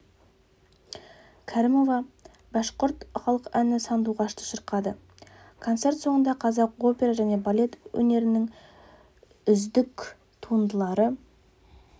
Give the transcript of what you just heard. кәрімова башқұрт халық әні сандуғашты шырқады концерт соңында қазақ опера және балет өнерінің үздік туындылары